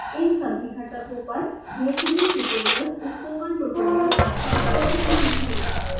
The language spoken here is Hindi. इन सभी घटकों पर बेहतरीन tutorials spoken tutorial website पर उपलब्ध हैं